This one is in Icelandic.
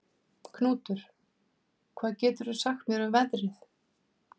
Knútur, hvað geturðu sagt mér um veðrið?